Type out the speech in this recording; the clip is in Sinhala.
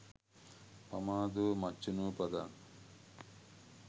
පමාදෝ මච්චුනෝ පදං